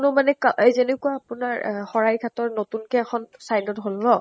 মানে এই যেনেকুৱা আপোনাৰ শৰাইঘাতৰ নতুন কে এখন side ত হʼল ন ?